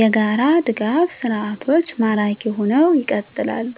**የጋራ ድጋፍ ሰርዓቶች ማራኪ ሁነው ይቀጥላሉ፤